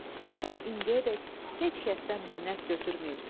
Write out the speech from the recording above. Sən indiyədək heç kəsdən minnət götürməyibsən.